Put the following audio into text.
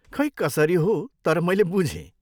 खै कसरी हो, तर मैले बुझेँ।